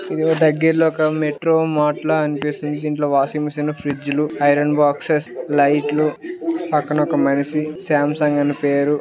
ఇక్కడ దగ్గర్లో ఒక మెట్రో మార్ట్ లా అనిపిస్తుంది. దీంట్లో వాషింగ్ మిషన్ స్ లు ఫ్రిజ్ లు ఐరన్ బాక్స్ స్ లైట్ లు పక్కన ఒక మనిషి సామ్ సంగ్ అని పేరు--